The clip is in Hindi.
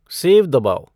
सेव दबाओ